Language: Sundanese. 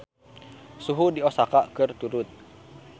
Suhu di Osaka keur turun